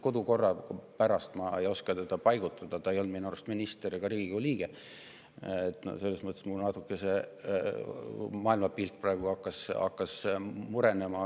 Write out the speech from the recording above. Kodukorra seisukohast ma ei oska teda paigutada, ta minu arust ei olnud ei minister ega Riigikogu liige – selles mõttes mul see maailmapilt hakkas praegu natuke murenema.